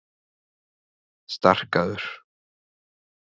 Starkaður